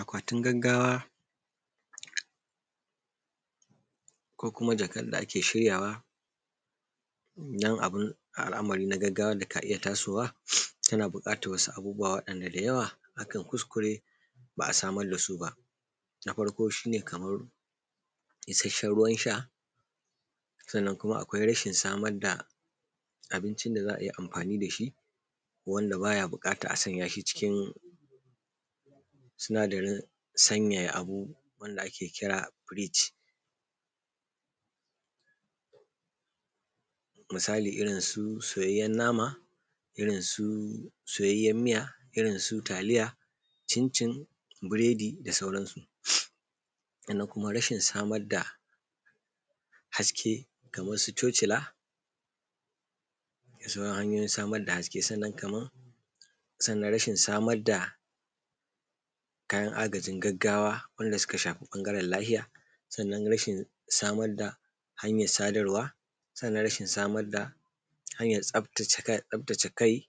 Akwatin gaggawa ko kuma jakar da ake shiryawa na al'amari na gaggawa da aka iya tasowa, yana buƙatar wasu abubuwa wanda da yawa aka kuskure ba a samar da su ba. Na farko shi ne kamar isasshen ruwan sha. Sannan kuma akwai rashin samar da abinci da za ai amfani da shi wanda ba bukatar a sanya shi cikin sinadarin sanyaya abu wanda ake kira freezer misali irinsu soyayyen nama ko soyayyen miya da irinsu taliya cincin buredi da sauransu. Sannan rashin samar da haske kamar su cocila da sauransu, da sauran hanyoyin samar da hasken. Sannan rashin samar da kayan agajin gaggawa wanda suka shafa ɓangaren lafiya. Samar da hanyar sadarwa da rashin samar hanyar tsaftace kai